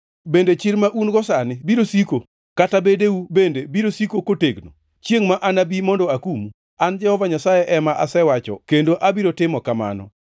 Bende chir ma un-go sani biro siko, kata bedeu bende biro siko kotegno, chiengʼ ma anabi mondo akumu? An Jehova Nyasaye ema asewacho kendo abiro timo kamano.